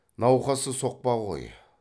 науқасы соқпа ғой